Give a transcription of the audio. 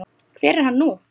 Hver er hann nú?